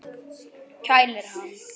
Kælir hann.